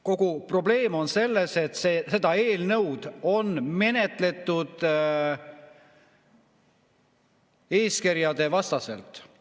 Kogu probleem on selles, et seda eelnõu on menetletud eeskirjadevastaselt.